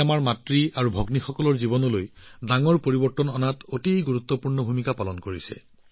আমাৰ মাতৃভগ্নীসকলৰ জীৱনলৈ এক বৃহৎ পৰিৱৰ্তন আনিবলৈ ই অতি গুৰুত্বপূৰ্ণ ভূমিকা পালন কৰিছে